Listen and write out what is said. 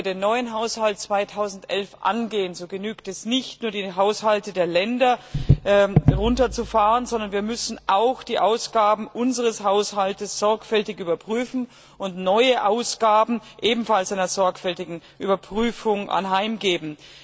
Wenn wir den neuen Haushalt 2011 angehen, dann genügt es nicht, nur die Haushalte der Länder herunterzufahren, sondern wir müssen auch die Ausgaben unseres Haushaltes sorgfältig überprüfen und neue Ausgaben ebenfalls einer sorgfältigen Überprüfung anheimgeben.